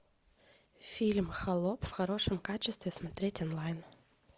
фильм холоп в хорошем качестве смотреть онлайн